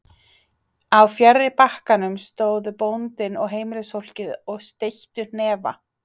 Á fjarri bakkanum stóðu bóndinn og heimilisfólkið og steyttu hnefa.